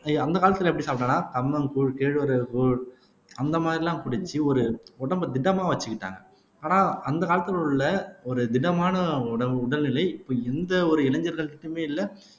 ஏ அந்த காலத்துல எப்படி சாப்பிட்டோம்னா கம்மங்கூழ் கேழ்வரகு கூழ் அந்த மாதிரி எல்லாம் பிடிச்சு ஒரு உடம்பை திடமா வச்சுக்கிட்டாங்க ஆனா அந்த காலத்துல உள்ள ஒரு திடமான உடல் உடல்நிலை இப்ப எந்த ஒரு இளைஞர்கள் கிட்டயுமே இல்லை